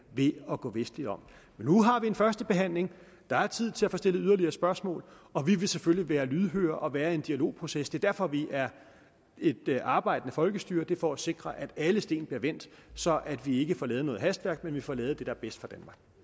ved at gå vestligt om nu har vi en første behandling og der er tid til at få stillet yderligere spørgsmål og vi vil selvfølgelig være lydhøre og være i en dialogproces det er derfor vi er et arbejdende folkestyre for at sikre at alle sten bliver vendt så vi ikke får lavet noget hastværk men får lavet det er bedst